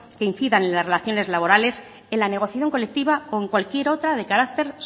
que incidan en las relaciones laborales en la negociación colectiva o en cualquier otra de carácter